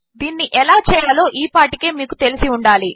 దీనినిఎలాచేయాలోఈపాటికేమీకుతెలిసిఉండాలి